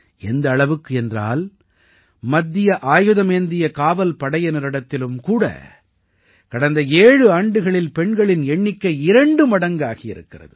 எந்த அளவுக்கு என்றால் மத்திய ஆயுதமேந்திய காவல் படையினரிடத்திலும் கூட கடந்த ஏழு ஆண்டுகளில் பெண்களின் எண்ணிக்கை இரண்டு மடங்காகி இருக்கிறது